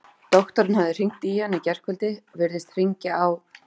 Doktorinn hafði hringt í hana í gærkvöldi, virðist hringja á